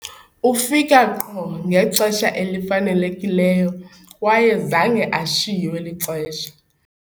ufika qho ngexesha elifanelekileyo kwaye zange ashiywe lixesha